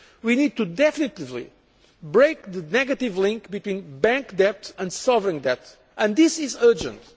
We need to definitively break the negative link between bank debt and sovereign debt and this is urgent.